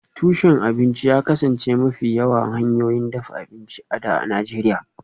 Tushen abinci ya kasance mafi yawan hanyoyin dafa abinci a da a Najeriya